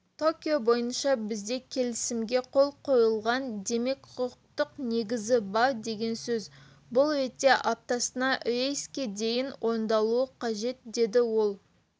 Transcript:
токио бойынша бізде келісімге қол қойылған демек құқықтық негіз бар деген сөз бұл ретте аптасына рейске дейін орындалуы қажет деді ол